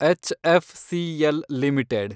HFCL limited